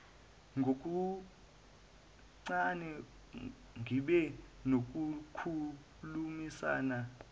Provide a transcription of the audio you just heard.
ngokuncane ngibe nokukhulumisana